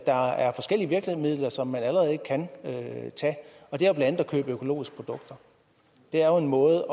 der er forskellige virkemidler som man allerede kan tage og det er blandt andet at købe økologiske produkter det er jo en måde